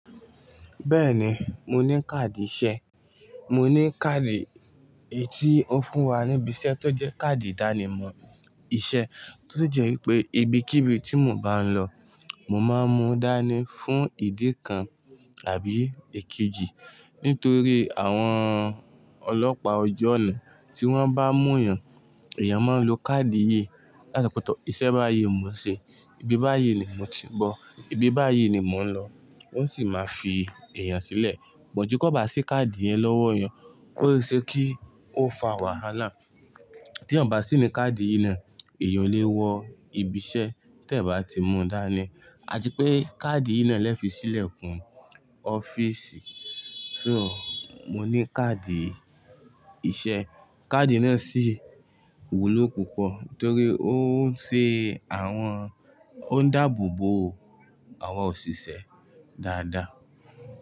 Bẹ́ẹ̀ni, mo ní káàdì iṣẹ́. Mo ní káàdì èyí tí wọ́n fún wa níbi iṣẹ́ tó jẹ́ káàdì ìdánimọ̀ iṣẹ́, tó jẹ́ wípé ibi kí ibi tí mo bá ń lọ, mo máa ń mú dání fún ìdí kan tàbí èkejì nítorí àwọn ọlọ́pàá ọjọ́ ọ̀nà tí wọ́n bá mú yàn, èèyàn máa ń lo káàdì ìyè látọ̀pọ̀tọ̀. Iṣẹ́ báyìí mo ṣe, ibi báyìí ni mo ti nbọ́, ibi báyìí ni mò ń lọ. Wọ́n sì máa fi èèyàn sílẹ̀. Bọ̀njú kí ó bá sí káàdì yẹn lọ́wọ́ èèyàn, ó lè ṣe kí ó fa wàhálà. Tí èèyàn bá sí ní káàdì yìí náà, èèyàn lè wọ ibi iṣẹ́ tí ẹ̀ bá ti mu dá ni. A ti pé káàdì yìí náà lẹ fi sílẹ̀ kún ọ́fíìsì. So, mo ní káàdì iṣẹ́. Káàdì náà sì wúlò púpọ̀ torí ó ń ṣe àwọn, ó ń dáàbò bo àwọn òṣìṣẹ́ dáadáa.